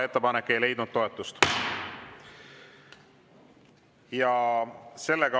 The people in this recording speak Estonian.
Ettepanek ei leidnud toetust.